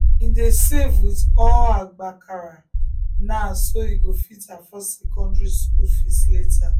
him dey save with all agbakara now so he go fit afford secondary school fees later.